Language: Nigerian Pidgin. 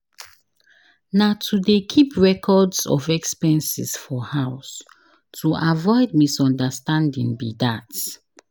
Na to dey keep records of expenses for house to avoid misunderstanding be dat.